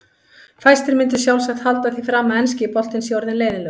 Fæstir myndu sjálfsagt halda því fram að enski boltinn sé orðinn leiðinlegur.